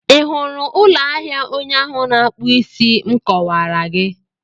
Ị hụrụ ụlọ ahịa onye ahụ na-akpụ isí m kọwaara gị?